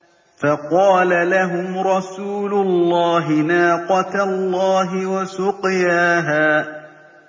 فَقَالَ لَهُمْ رَسُولُ اللَّهِ نَاقَةَ اللَّهِ وَسُقْيَاهَا